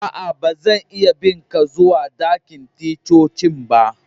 Aa, ba zan iya bin ka zuwa ɗakin ticcocin ba.